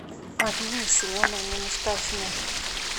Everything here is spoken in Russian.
алине семеновне мустафиной